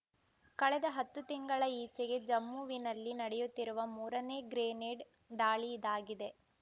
ಕಳೆದ ಹತ್ತು ತಿಂಗಳ ಈಚೆಗೆ ಜಮ್ಮುವಿನಲ್ಲಿ ನಡೆಯುತ್ತಿರುವ ಮೂರನೇ ಗ್ರೆನೇಡ್ ದಾಳಿ ಇದಾಗಿದೆ